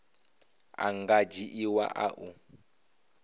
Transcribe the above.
a nga dzhiiwa a u